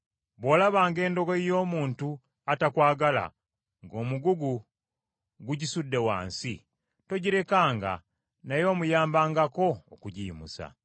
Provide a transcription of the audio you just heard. Bw’olabanga endogoyi y’omuntu atakwagala, ng’omugugu gugisudde wansi, togirekanga, naye omuyambangako okugiyimusa.